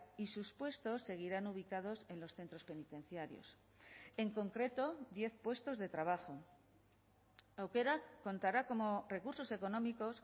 y sus puestos seguirán ubicados en los centros penitenciarios en concreto diez puestos de trabajo aukerak contará como recursos económicos